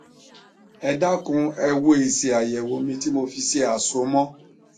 ẹ dákun ẹ wo èsì àyẹwò mi tí mo fi ṣe àsomọ